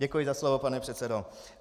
Děkuji za slovo, pane předsedo.